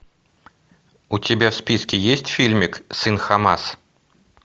у тебя в списке есть фильмик сын хамас